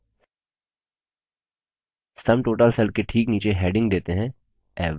sum total cell के ठीक नीचे heading देते हैं average